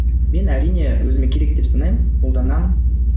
мен әрине өзіме керек деп санаймын қолданамын